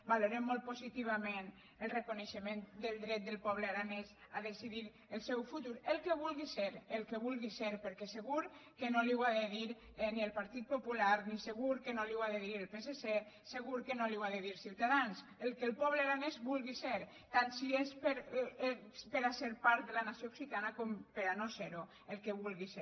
valorem molt positivament el reconeixement del dret del poble aranès a decidir el seu futur el que vulgui ser el que vulgui ser perquè segur que no li ho ha de dir ni el partit popular ni segur que li ho ha de dir el psc segur que no li ho ha de dir ciutadans el que po·ble aranès vulgui ser tant si és per a ser part de la nació occitana com per a no ser·ho el que vulgui ser